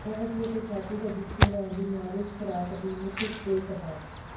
ਗਰਭਵਤੀ ਅਤੇ ਛਾਤੀ ਦਾ ਦੁੱਧ ਚੁੰਘਾਉਣ ਦੀ ਮਿਆਦ ਇਸ ਖੁਰਾਕ ਦੀ ਮੁੱਖ ਉਲਟ ਹੈ